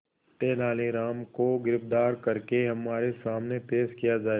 तेनालीराम को गिरफ्तार करके हमारे सामने पेश किया जाए